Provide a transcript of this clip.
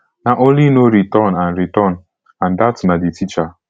na only no return and return and dat na di teacher